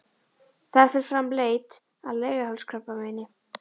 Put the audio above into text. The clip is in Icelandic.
Þar fer fram leit að leghálskrabbameini.